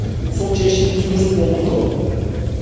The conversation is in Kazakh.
сол шешіміміз дұрыс болыпты